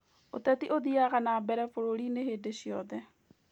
ũteti ũthiaga na nbere bũrũri-inĩ hĩndĩ ciothe